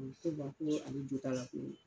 Ko koo ale jot'a la koo